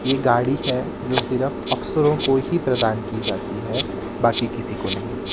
ये गाड़ी है जो सिर्फ अफसरों को ही प्रदान की जाती है बाकी किसी को नहीं--